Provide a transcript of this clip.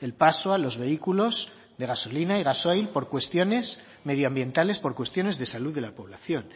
el paso a los vehículos de gasolina y gasoil por cuestiones medioambientales por cuestiones de salud de la población